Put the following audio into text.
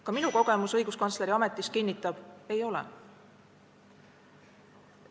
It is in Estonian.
Ka minu kogemus õiguskantsleri ametis kinnitab: ei ole.